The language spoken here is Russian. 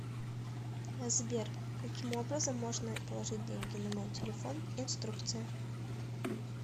сбер каким образом можно положить деньги на мой телефон инструкция